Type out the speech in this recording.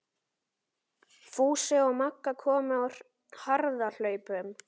Fúsi og Magga komu á harðahlaupum.